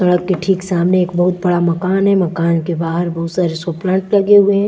सड़क के ठीक सामने एक बहुत बड़ा मकान हैं मकान के बाहर बहुत सारे शो प्लांट लगे हुए हैं।